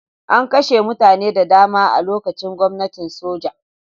An kashe mutane da dama a lokacin gwamnatin soja.